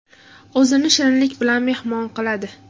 O‘zini shirinlik bilan mehmon qiladi.